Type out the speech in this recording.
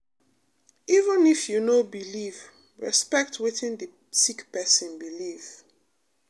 even if you no believe respect wetin d sick pesin believe.